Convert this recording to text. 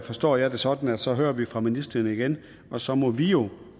forstår jeg det sådan at så hører vi fra ministeren igen og så må vi jo